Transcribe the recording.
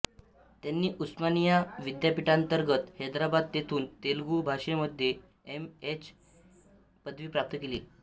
त्यांनी उस्मानिया विद्यापीठांतर्गत हैद्राबाद येथुन तेलगु भाषे मधे एम ए ची पदवी प्राप्त केली